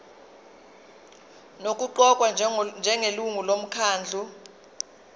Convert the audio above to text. nokuqokwa njengelungu lomkhandlu